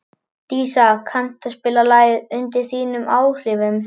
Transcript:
Dísa, kanntu að spila lagið „Undir þínum áhrifum“?